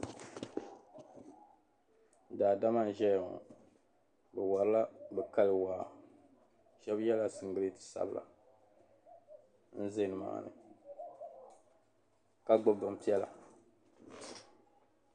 Daa dama n ʒiya ŋɔ , bɛwarila bɛkali waa, shabi yela din tiligi sabila n ʒɛ ni maani ka gbubi bin piɛla ,